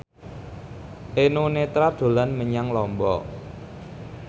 Eno Netral dolan menyang Lombok